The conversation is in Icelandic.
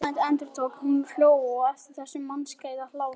Verðmæt, endurtók hún og hló aftur þessum mannskæða hlátri.